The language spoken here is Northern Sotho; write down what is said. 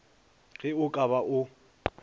ge o ka ba o